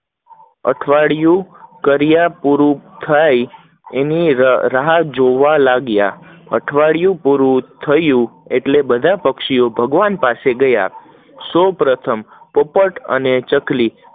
અઠવાડિયું કર્યા પૂરું થઇ એની રાહ જોવા લાગ્યા, અઠવાડિયું પૂરું થયું એટલે બધા પક્ષીઓ ભગવાન પાસે ગયા સૌ પ્રથમ પોપટ અને ચકલી